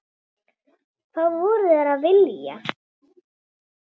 Hvað voru þeir að vilja?